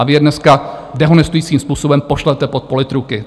A vy je dneska dehonestujícím způsobem pošlete pod politruky.